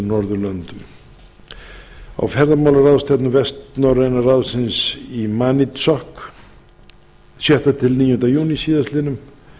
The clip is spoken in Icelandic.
norðurlöndum á ferðamálaráðstefnu vestnorræna ráðsins í maniitsoq sjötta til níunda júní síðastliðnum